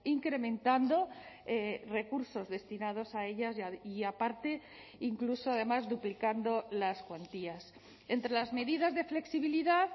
incrementando recursos destinados a ellas y aparte incluso además duplicando las cuantías entre las medidas de flexibilidad